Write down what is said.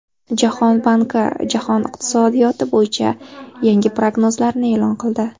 Jahon banki jahon iqtisodiyoti bo‘yicha yangi prognozlarini e’lon qildi .